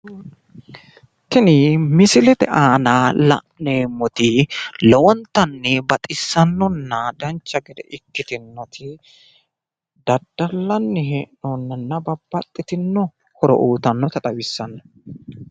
Tini misilete aana la'neemmoti lowontanni baxissannonna dancha gede ikkitinoti daddalanni hee'noonninna babbaxxitino horo uyitannota xawissanno.